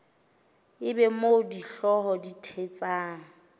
eba moo dihlooho di thetsang